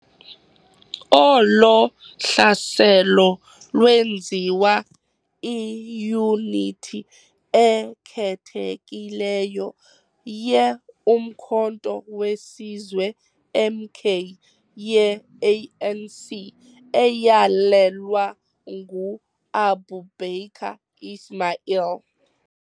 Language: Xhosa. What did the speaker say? Olo hlaselo lwenziwa iiyunithi ekhethekileyo ye-Umkhonto we Sizwe, MK, ye-ANC, eyalelwa ngu-Aboobaker Ismail.